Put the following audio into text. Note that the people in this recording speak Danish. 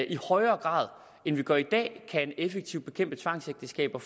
i højere grad end vi gør i dag effektivt kan bekæmpe tvangsægteskaber